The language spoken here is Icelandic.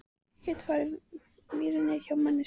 Ég get fengið vírnet hjá manni segir Ása.